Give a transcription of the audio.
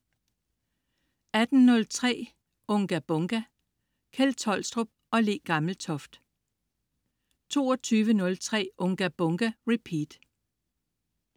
18.03 Unga Bunga! Kjeld Tolstrup og Le Gammeltoft 22.03 Unga Bunga! Repeat